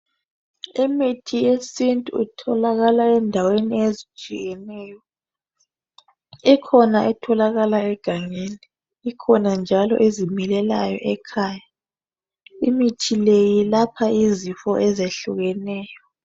Imithi yesintu itholakala endaweni ezitshiyeneyo ikhona etholakala egangeni ikhona njalo ezimilelayo ekhaya imithi le yelapha izifo ezehlukeneyo.